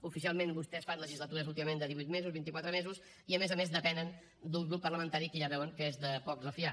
oficialment vostès fan legislatures últimament de divuit mesos vint i quatre mesos i a més a més depenen d’un grup parlamentari que ja veuen que és de poc refiar